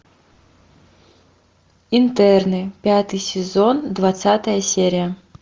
интерны пятый сезон двадцатая серия